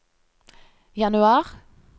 januar